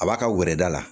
A b'a ka wɔɛrɛda la